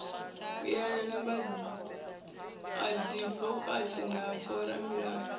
yelana na vhaadivokati na vhoramilayo